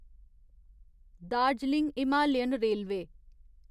Darjeeling Himalayan railway